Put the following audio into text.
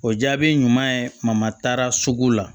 O jaabi ɲuman ye mama taara sugu la